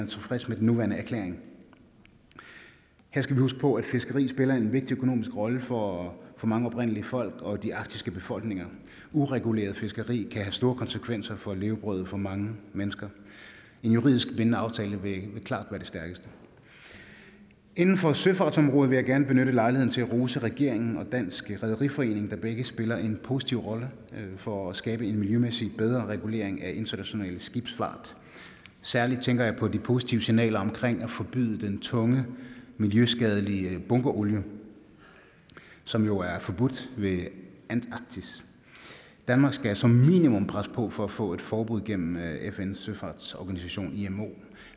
tilfreds med den nuværende erklæring her skal vi huske på at fiskeri spiller en vigtig økonomisk rolle for mange oprindelige folk og de arktiske befolkninger ureguleret fiskeri kan have store konsekvenser for levebrødet for mange mennesker en juridisk bindende aftale vil klart være det stærkeste inden for søfartsområdet vil jeg gerne benytte lejligheden til at rose regeringen og dansk rederiforening der begge spiller en positiv rolle for at skabe en miljømæssig bedre regulering af international skibsfart særlig tænker jeg på de positive signaler omkring at forbyde den tunge miljøskadelige bunkerolie som jo er forbudt ved antarktis danmark skal som minimum presse på for at få et forbud gennem fns søfartsorganisation imo